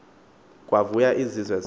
kwavuywa zizo zonke